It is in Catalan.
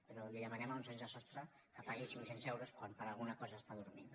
però li demanem a un sense sostre que pagui cinc cents euros quan per alguna cosa està dormint